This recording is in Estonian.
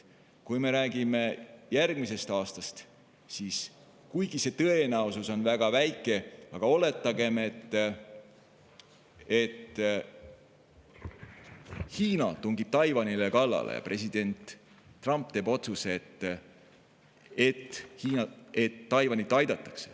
Kui me räägime järgmisest aastast, siis kuigi see tõenäosus on väga väike, oletagem, et Hiina tungib Taiwanile kallale ja president Trump teeb otsuse, et Taiwanit aidatakse.